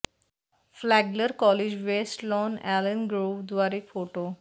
Flagler college west lawn Allen grove द्वारे photo